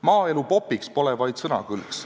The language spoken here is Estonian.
"Maaelu popiks!" pole vaid sõnakõlks.